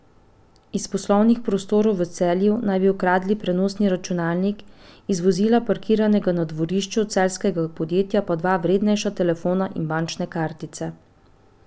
Iz poslovnih prostorov v Celju naj bi ukradel prenosni računalnik, iz vozila parkiranega na dvorišču celjskega podjetja pa dva vrednejša telefona in bančne kartice.